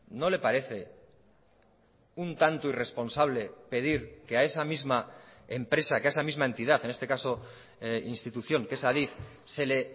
no le parece un tanto irresponsable pedir que a esa misma empresa que a esa misma entidad en este caso institución que es adif se le